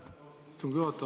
Austatud istungi juhataja!